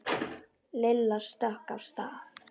Lilla stökk af stað.